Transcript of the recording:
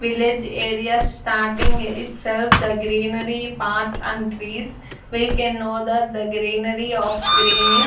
village area starting itself the greenery part and trees we can know that the greenery of greenish --